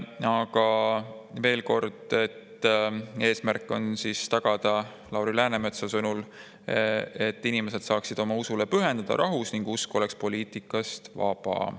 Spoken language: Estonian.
Aga veel kord: Lauri Läänemetsa sõnul on eesmärk tagada see, et inimesed saaksid rahus oma usule pühenduda ning usk oleks poliitikast vaba.